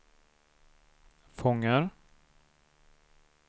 fångar